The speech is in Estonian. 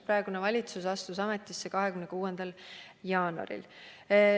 Praegune valitsus astus ametisse 26. jaanuaril.